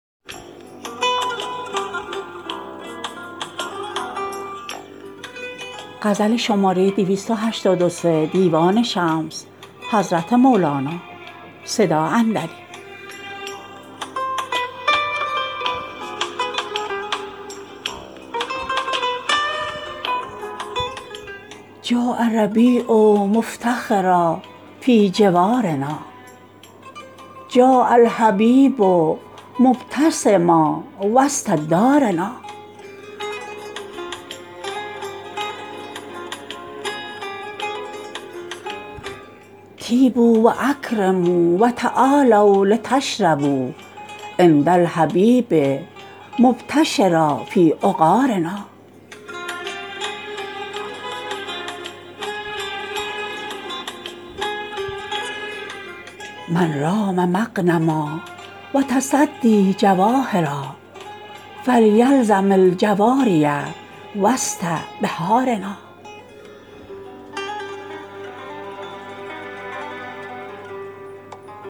جاء الربیع مفتخرا فی جوارنا جاء الحبیب مبتسما وسط دارنا طیبوا و اکرموا و تعالوا التشربوا عند الحبیب مبتشرا فی عقارنا من رام مغنما و تصدی جواهرا فلیلزم الجواری وسط بحارنا